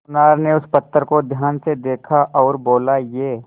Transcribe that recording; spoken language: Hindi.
सुनार ने उस पत्थर को ध्यान से देखा और बोला ये